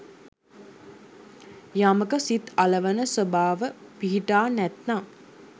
යමක සිත් අලවන ස්වභාව පිහිටා නැත්නම්